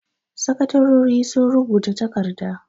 Sakatarori sun rubuta takarda.